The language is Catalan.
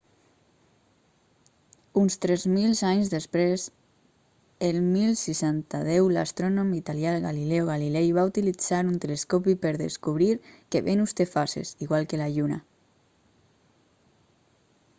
uns tres mil anys després el 1610 l'astrònom italià galileo galilei va utilizar un telescopi per descobrir que venus té fases igual que la lluna